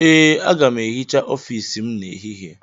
Ee, aga m ehicha ọfiisi m n'ehihie.